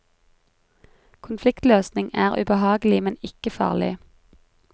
Konfliktløsning er ubehagelig, men ikke farlig.